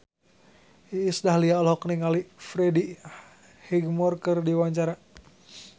Iis Dahlia olohok ningali Freddie Highmore keur diwawancara